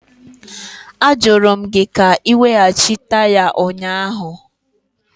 Ajụrụ m gị ka ị weghachi taya ụnyaahụ!